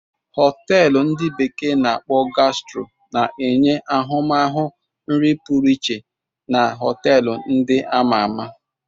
Họteelu ndi bekee na-akpo Gastro na-enye ahụmahụ nri pụrụ iche na họteelu ndị a ma ama.